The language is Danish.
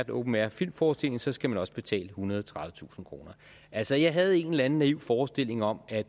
open air filmforestilling for så skal man også betale ethundrede og tredivetusind kroner altså jeg havde en eller anden naiv forestilling om at